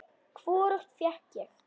Hvorugt fékk ég.